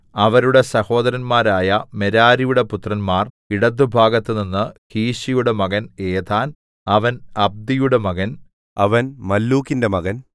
അവരുടെ സഹോദരന്മാരായ മെരാരിയുടെ പുത്രന്മാർ ഇടത്തുഭാഗത്തുനിന്ന് കീശിയുടെ മകൻ ഏഥാൻ അവൻ അബ്ദിയുടെ മകൻ അവൻ മല്ലൂക്കിന്റെ മകൻ